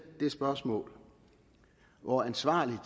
det spørgsmål hvor ansvarligt